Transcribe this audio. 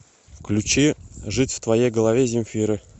включи жить в твоей голове земфиры